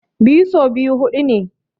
Biyu so biyu huɗu ne.